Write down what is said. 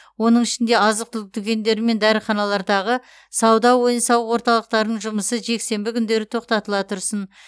оның ішінде азық түлік дүкендері мен дәріханалардағы сауда ойын сауық орталықтарының жұмысы жексенбі күндері тоқтатыла тұрсын